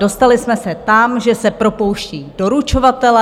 Dostali jsme se tam, že se propouští doručovatelé.